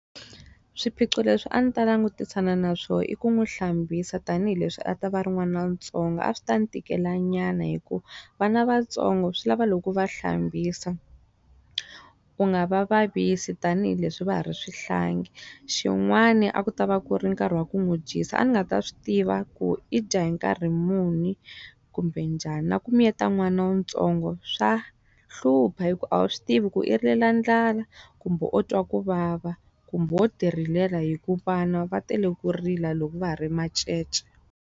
Swiphiqo leswi a ni ta langutisana na swona i ku n'wi hlambisa tanihileswi a ta va ri n'wanantsongo. A swi ta n'wi tikela nyana hikuva vana va ntsongo swi lava loko u va hlambisa, u nga va vavisi tanihileswi va ha ri swihlangi. Xin'wani a ku ta va ku ri nkarhi wa ku n'wi dyisa, a ni nga ta swi tiva ku i dya hi nkarhi muni kumbe njhani. Na ku miyeta n'wana wu ntsongo swa hlupha hi ku a wu swi tivi ku i rilela ndlala, kumbe u twa ku vava, kumbe wo ti rilela hikuva vana va tele ku rila loko va ha ri macece.